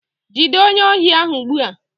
Jide onye ohi ahu ugbua!